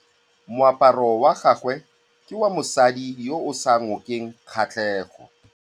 Moaparô wa gagwe ke wa mosadi yo o sa ngôkeng kgatlhegô.